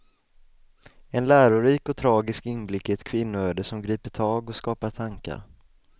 En lärorik och tragisk inblick i ett kvinnoöde som griper tag och skapar tankar.